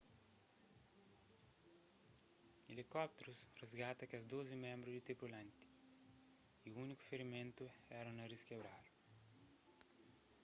elikópterus risgata kes dozi ménbru di tripulant y úniku firimentu éra un narís kebradu